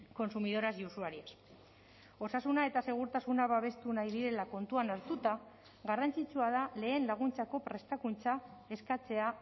consumidoras y usuarias osasuna eta segurtasuna babestu nahi direla kontuan hartuta garrantzitsua da lehen laguntzako prestakuntza eskatzea